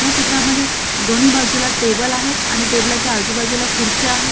या चित्रामद्धे एक दोन्ही बाजूला टेबल आहेत आणि टेबलाच्या आजूबाजूला खुर्च्या आहेत.